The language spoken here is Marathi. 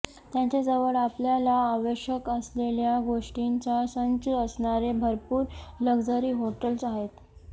त्यांच्याजवळ आपल्याला आवश्यक असलेल्या गोष्टींचा संच असणारे भरपूर लक्झरी हॉटेल्स आहेत